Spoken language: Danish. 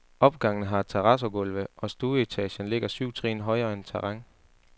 Opgangene har terrazzogulve, og stueetagen ligger syv trin højere end terræn.